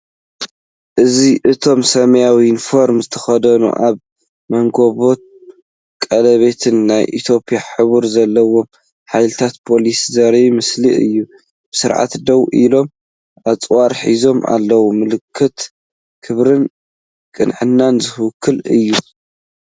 እዚ እቶም ሰማያዊ ዩኒፎርም ዝተኸድኑ፡ ኣብ መንኵቦም ቀለቤት ናይ ኢትዮጵያ ሕብሪ ዘለዎም ሓይልታት ፖሊስ ዘርኢ ምስሊ እዩ። ብስርዓት ደው ኢሎም ኣጽዋር ሒዞም ኣለው። ምልክት ክብርን ቅንዕናን ዝውክል እዩ።